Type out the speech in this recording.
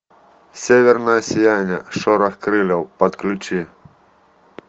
северное сияние шорох крыльев подключи